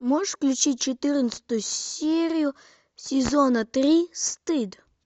можешь включить четырнадцатую серию сезона три стыд